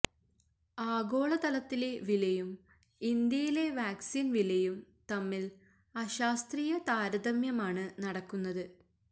ആഗോള തലത്തിലെ വിലയും ഇന്ത്യയിലെ വാക്സീൻ വിലയും തമ്മിൽ അശാസ്ത്രീയ താരതമ്യമാണ് നടക്കുന്നത്